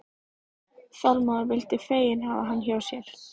Þormóður vildu fegin hafa hann hjá sér.